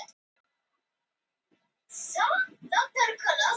Önnur hafa einfaldast, til dæmis danska sem greinir að samkyn og hvorugkyn.